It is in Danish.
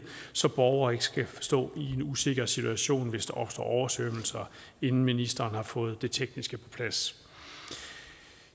så borgere ikke skal stå i en usikker situation hvis der opstår oversvømmelser inden ministeren har fået det tekniske på plads